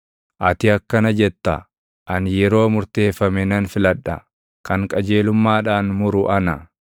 Ati akkana jetta; “Ani yeroo murteeffame nan filadha; kan qajeelummaadhaan muru ana.